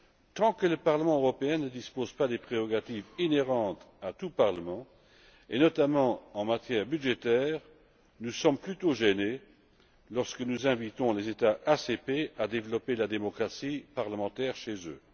Tant que le Parlement européen ne dispose pas des prérogatives inhérentes à tout parlement, notamment en matière budgétaire, nous sommes plutôt gênés lorsque nous invitons les États ACP à développer la démocratie parlementaire chez eux.